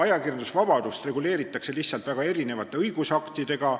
Ajakirjandusvabadust reguleeritakse lihtsalt väga erinevate õigusaktidega.